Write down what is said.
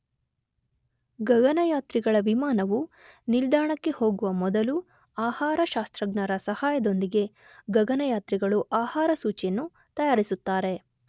ಗಗನಯಾತ್ರಿಗಳ ವಿಮಾನವು ನಿಲ್ದಾಣಕ್ಕೆ ಹೋಗುವ ಮೊದಲು ಆಹಾರ ಶಾಸ್ತ್ರಜ್ಞರ ಸಹಾಯದೊಂದಿಗೆ ಗಗನಯಾತ್ರಿಗಳು ಆಹಾರಸೂಚಿಯನ್ನು ತಯಾರಿಸುತ್ತಾರೆ.